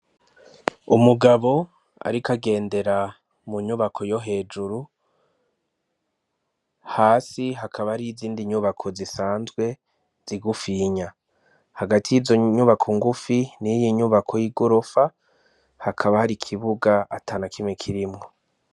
Umugabo, ariko agendera mu nyubako yo hejuru hasi hakaba ari izindi nyubako zisanzwe zigufiinya hagati y'izo nyubako ngufi n'iyinyubako y'i gorofa hakaba hari ikibuga ata na kime kirimwo.